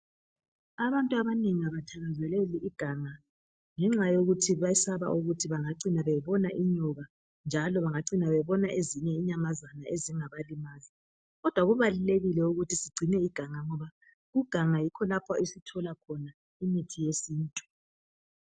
Abantu abanengi abathakazeleli iganga ngenxa yokuthi besaba ukuthi bangaçina bebona inyoka njalo bangaçina bebona ezinye inyamazana ezingabalimaza kodwa kubalulekile ukuthi sigcine iganga ngoba kuganga yikho lapha esithola khona imithi yesintu.